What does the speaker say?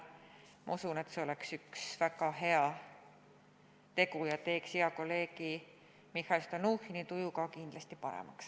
Ma usun, et see oleks üks väga hea tegu ja teeks hea kolleegi Mihhail Stalnuhhini tuju ka kindlasti paremaks.